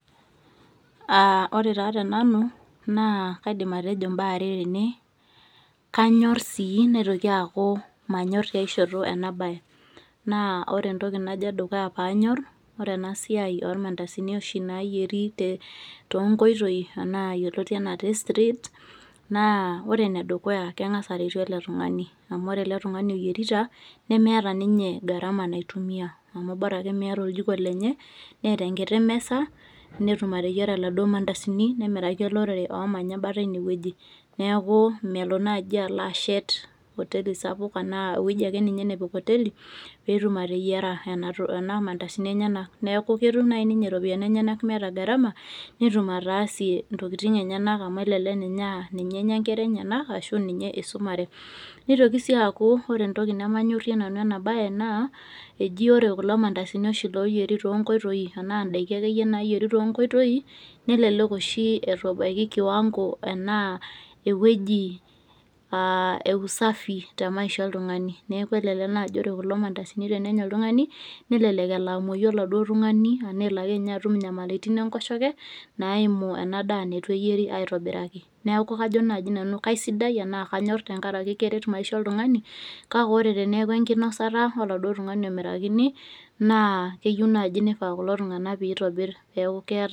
Aah ore taa tenanu naakaidim atejo imbaa are tene, kanyorr sii naitoki aaku manyorr tiai shoto enabaye. Naa ore entoki najo edukuya paanyorr, ore enasiai olmandasini oshi nayieri [te] tonkoitoi anaa yoloti anaa te streets naa ore nedukuya keng'as aretu ele tung'ani amu ore ele tung'ani oyierita nemeata ninye garama naitumia amu borake meata oljiko lenye neeta enkiti mesa natum ateyiera laduo mandasini nemiraki olorere oomanya embata eine wueji neakuu melo naji aloashet hoteli sapuk anaa wueji akeninye nepik hoteli peetum ateyiera enatoki, enaa mandasini enyenak neaku ketum nai ninye ropiyani enyenak meeta garama netum ataasie intokitin enyenak amu elelek ninye [aa] ninye enya nkeraenyenak ashu ninye eisumare. Neitoki sii aaku ore entoki nemanyorrie nanu enabaye naa eji ore kulo mandasini oshi loyieri toonkoitoi anaa indaiki akeyie naayieri tonkoitoi nelelek oshi eitu ebaiki kiwango enaa ewueji [aa] usafi temaisha oltung'ani neaku elelek naji ore kulo mandasini tenenya oltung'ani nelelek elo amuoyu oladuo tung'ani anaaelo akeninye aloatum inyamalitin enkoshoke naaimu enadaa neitu eyieri aitobiraki. Neaku kajo naji nanu kaisidai anaa kanyorr tengarake keret maisha oltung'ani kake ore teneaku enkinosata oladuo tung'ani omirakini naa keyou naji neifaa kulo tung'anak peitobirr peaku keata...